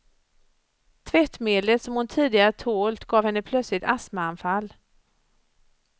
Tvättmedlet som hon tidigare tålt gav henne plötsligt astmaanfall.